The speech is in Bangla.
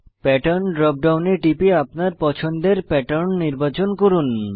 প্যাটার্ন ড্রপ ডাউনে টিপে আপনার পছন্দের প্যাটার্ন নির্বাচন করুন